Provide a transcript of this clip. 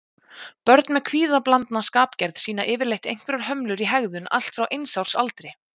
Börn með kvíðablandna skapgerð sýna yfirleitt einhverjar hömlur í hegðun allt frá eins árs aldri.